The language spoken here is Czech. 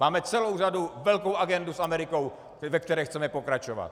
Máme celou řadu, velkou agendu s Amerikou, ve které chceme pokračovat.